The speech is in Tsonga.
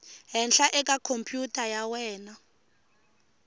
henhla eka khompyutara ya wena